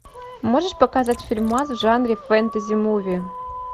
можешь показать фильмас в жанре фэнтези муви